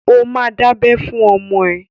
Ó ma dábẹ́ fún ọmọ ẹ!